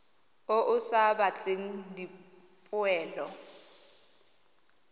o o sa batleng dipoelo